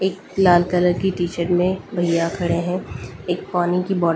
एक लाल कलर की टी-शर्ट में भैया खड़े हैं एक मानी की बोतल --